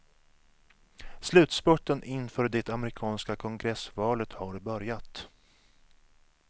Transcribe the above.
Slutspurten inför det amerikanska kongressvalet har börjat.